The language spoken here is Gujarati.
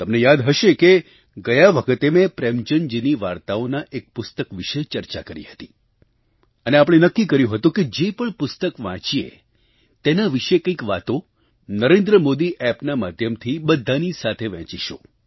તમને યાદ હશે કે ગયા વખતે મેં પ્રેમચંદજીની વાર્તાઓના એક પુસ્તક વિશે ચર્ચા કરી હતી અને આપણે નક્કી કર્યું હતું કે જે પણ પુસ્તક વાંચીએ તેના વિશે કંઈક વાતો નરેન્દ્રમોદી Appના માધ્યમથી બધાની સાથે વહેંચીશું